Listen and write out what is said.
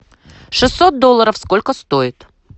шестьсот долларов сколько стоит